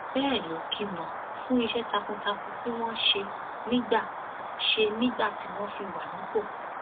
bẹẹ ló kí wọn fún iṣẹ takuntakun tí wọn ṣe nígbà ṣe nígbà tí wọn fi wà nípò